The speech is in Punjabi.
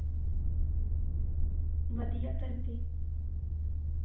ਵਧੀਆ ਫੇਰ ਤੇ